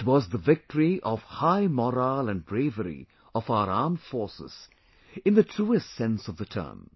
It was the victory of high morale and bravery of our armed forces in the truest sense of the term